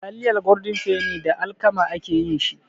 Taliyar Goldin feni da alkama ake yin shi.